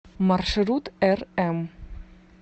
маршрут рм